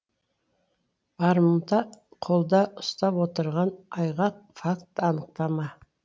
барымта қолда ұстап отырған айғақ факт анықтама